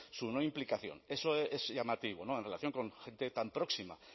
su no implicación eso es llamativo en relación con gente tan próxima